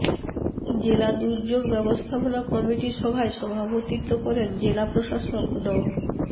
জেলা দুর্যোগ ব্যবস্থাপনা কমিটি সভায় সভাপতিত্ব করেন জেলা প্রশাসক ড